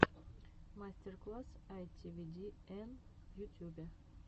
мастер класс айтивидиэн в ютюбе